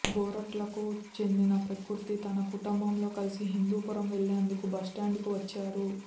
గోరంట్లకు చెందిన ప్రకృతి తన కుటుంబంతో కలిసి హిందూపురం వెళ్లెందుకు బస్టాండ్ కు వచ్చారు